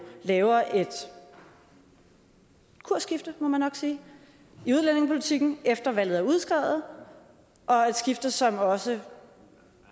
laver et kursskifte må man nok sige i udlændingepolitikken efter valget er udskrevet og et skifte som også